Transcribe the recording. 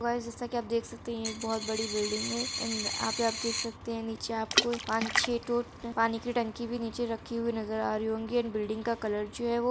guys जैसे की आप देख सकते है यहां एक बहोत बड़ी बिल्डिंग है एण्ड आप यहां पे देख सकते है नीचे पाँच छे ठो पानी की टंकी भी नीचे रखी हुई नजर आ रही होगी एण्ड बिल्डिंग का कलर --